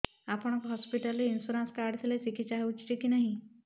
ଆପଣଙ୍କ ହସ୍ପିଟାଲ ରେ insurance card ଥିଲେ ଚିକିତ୍ସା ହେଉଛି କି ନାଇଁ